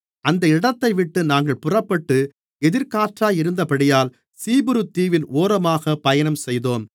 அந்த இடத்தைவிட்டு நாங்கள் புறப்பட்டு எதிர்க்காற்றாயிருந்தபடியினால் சீப்புரு தீவின் ஓரமாகப் பயணம் செய்தோம்